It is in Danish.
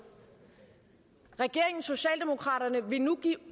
regeringen og socialdemokraterne vil nu give